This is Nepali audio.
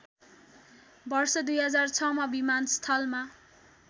वर्ष २००६मा विमानस्थलमा